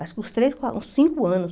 Acho que uns três, quatro, uns cinco anos.